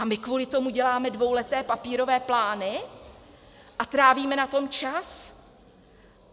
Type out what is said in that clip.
A my kvůli tomu děláme dvouleté papírové plány a trávíme na tom čas?